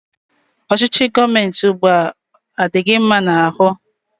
Ọchịchị gọọmenti ụgbụa, a dị gị mma n'ahụ?